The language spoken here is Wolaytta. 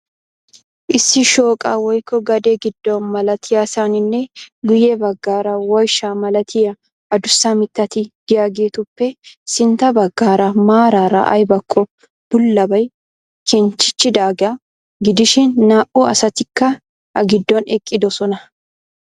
Issi shooqa, woykko gade gido malatiyaasanninne guye bagaara woyshsha malattiya addussa mitatti de'iyaageetuppe sintta bagaara maarara aybakko bullabay kenchchechidaagaa gidishin naa'u asattikka a gidoon eqqidosonna.